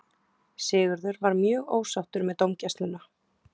Sigurður var mjög ósáttur með dómgæsluna.